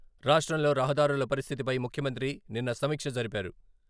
రాష్ట్రంలో రహదారుల పరిస్థితిపై ముఖ్యమంత్రి నిన్న సమీక్ష జరిపారు.